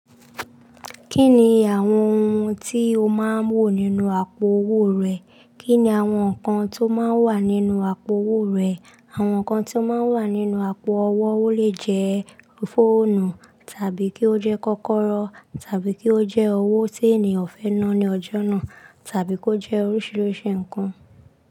Kí ni àwọn ohun tí o máa ń wò nínú àpò owó rẹ? Kí ni àwọn nǹkan tó máa ń wà nínú àpò owó rẹ? Àwọn nǹkan tó máa ń wà nínú àpò owó lè jẹ́ fóònù tàbí kí ó jẹ́ kọ́kọ́rọ́ tàbí kí ó jẹ́ owó tí ènìyàn fẹ́ ná ní ọjọ́ náà tàbí kó jẹ́ oríṣiríṣi nǹkan.